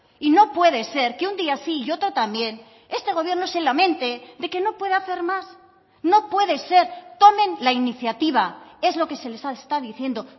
y no puede ser que un día sí y otro también este gobierno se lamente de que no puede hacer más no puede ser tomen la iniciativa es lo que se les está diciendo